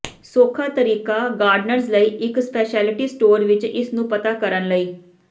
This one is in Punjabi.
ਸੌਖਾ ਤਰੀਕਾ ਗਾਰਡਨਰਜ਼ ਲਈ ਇੱਕ ਸਪੈਸ਼ਲਿਟੀ ਸਟੋਰ ਵਿੱਚ ਇਸ ਨੂੰ ਪਤਾ ਕਰਨ ਲਈ